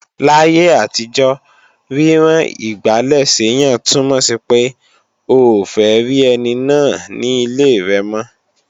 Láyé àtijọ́, rírán igbálẹ̀ séyàn túnmọ̀ sí pé, o ò fẹ́ rí ẹni náà ní ilé rẹ̀ mọ́